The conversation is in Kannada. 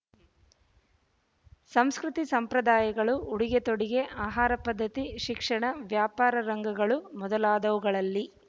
ಸಂಸ್ಕೃತಿ ಸಂಪ್ರದಾಯಗಳು ಉಡುಗೆ ತೊಡಿಗೆ ಆಹಾರ ಪದ್ಧತಿ ಶಿಕ್ಷಣ ವ್ಯಾಪಾರ ರಂಗಗಳು ಮೊದಲಾದವುಗಳಲ್ಲಿ